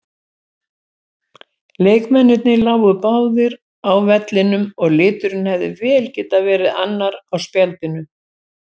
Leikmennirnir lágu báðir á vellinum og liturinn hefði vel getað verið annar á spjaldinu.